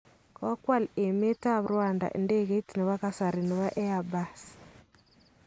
Kokwal emetab Rwanda idegeit nebo kasari nebo Airbus